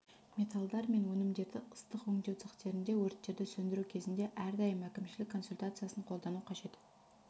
металлдар мен өнімдерді ыстық өңдеу цехтерінде өрттерді сөндіру кезінде әрдайым әкімшілік консультациясын қолдану қажет